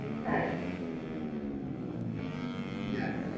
হাঁ, হাঁ